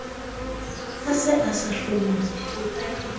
a se a sa hlomphe